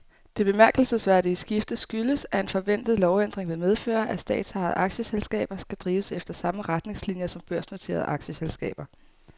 Det bemærkelsesværdige skifte skyldes, at en forventet lovændring vil medføre, at statsejede aktieselskaber skal drives efter samme retningslinier som børsnoterede aktieselskaber.